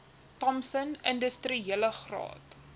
thompson industriele graad